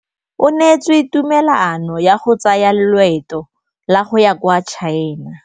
O neetswe tumalanô ya go tsaya loetô la go ya kwa China.